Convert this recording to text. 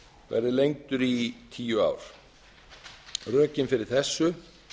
verði lengdur í tíu ár rökin fyrir þessu